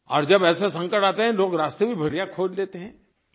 और जब ऐसे संकट आते हैं लोग रास्ते भी बढ़िया खोज लेते हैं